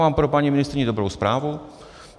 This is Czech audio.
Mám pro paní ministryni dobrou zprávu.